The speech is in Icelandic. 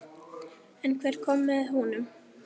En hver kom með honum?